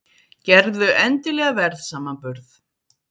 Gerðu endilega verðsamanburð!